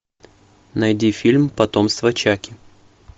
найди фильм потомство чаки